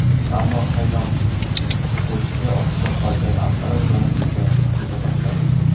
Ammo qaynoq ko‘chki ostida qolgan apparat yonib keta boshladi.